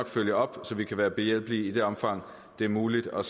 følger op så vi kan være behjælpelige i det omfang det er muligt og